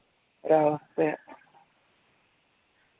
ഒരവസ്ഥയാ